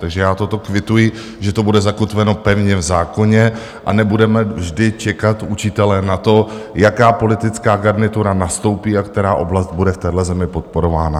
Takže já toto kvituji, že to bude zakotveno pevně v zákoně a nebudeme vždy čekat, učitelé, na to, jaká politická garnitura nastoupí a která oblast bude v téhle zemi podporována.